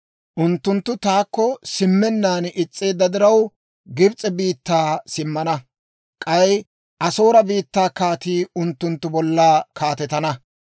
«Unttunttu taakko simmennaan is's'eedda diraw, Gibs'e biittaa simmana; k'ay Asoore biittaa kaatii unttunttu bolla kaatetana.